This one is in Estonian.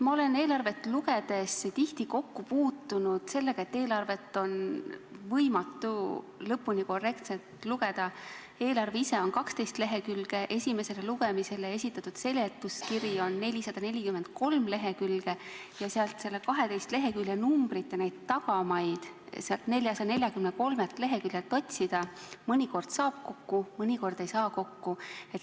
Ma olen eelarvet lugedes tihti kokku puutunud sellega, et eelarvet on võimatu lõpuni korrektselt lugeda: eelarve ise on 12 lehekülge, esimesele lugemisele esitatud seletuskiri on 443 lehekülge ja kui 12 lehekülje numbrite tagamaad nendelt 443 leheküljelt otsida, siis mõnikord saab selle kokku, mõnikord ei saa.